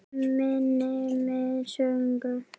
Manni með sögu.